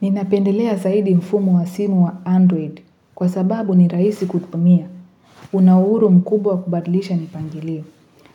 Ninapendelea zaidi mfumu wa simu wa Android kwa sababu ni raisi kutumia una uhuru mkubwa kubadilisha mipangilio